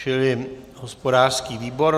Čili hospodářský výbor.